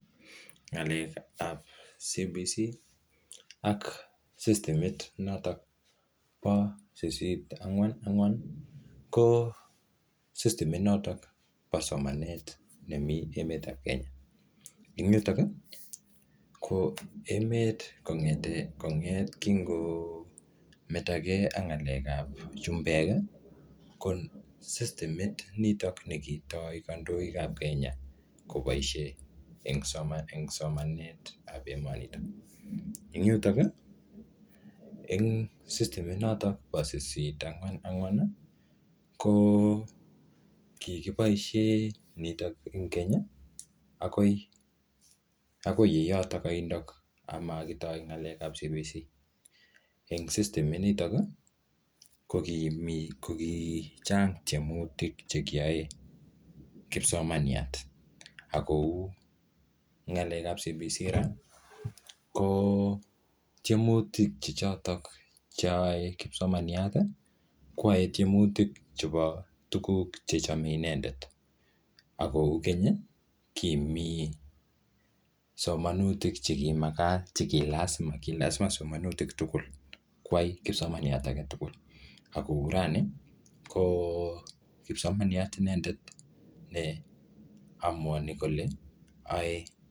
Ng'alek ap CBC ak sistimit notok pa 8.4.4 ko sistimit notok pa somanet neni emet ap Kenya. Eng' yutok i, Ko emet kong'et kingometage ak ng'alek ap chumbek i, ko sistimit nitok ne kitai kandoik ap Kenya kopaishe eng' somanet ap emanitok. Eng' yutok i, eng' sistimit notok pa 8.4.4 ko kikioaishe nitok eng' keny akoi ye yotok aindok ye makitai ng'alek ap CBC. Eng' sistiminotok i, ko kimi ko kichang' tiemutik che kiyae kipsomaniat. Ak kou ng'alek ap CBC ra ko tiemutik che chotok che yae kipsomaniat koyae tiemutik chepa tuguk che yae inendet. Ako ki keny kimi somanutik che kimakat, che ki lasima somanutik tugul koyai kipsomaniat age tugul ak kou rani , kipsomaniat inedet ne amuani kole ae.